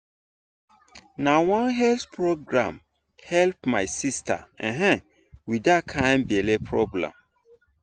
na one health program help my sister um with that kind belly problem.